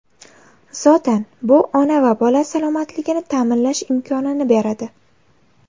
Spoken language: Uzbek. Zotan, bu ona va bola salomatligini ta’minlash imkonini beradi.